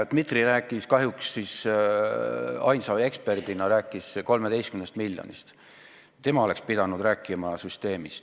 Dmitri rääkis kahjuks ainsa eksperdina 13 miljonist, aga ta oleks pidanud rääkima süsteemist.